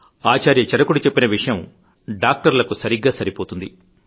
ఆచార్య చరకుడు చెప్పిన విషయం డాక్టర్లకు సరిగ్గా సరిపోతుంది